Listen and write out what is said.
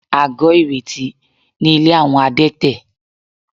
Àgọ́ìrètí ni ilé àwọn Adétẹ̀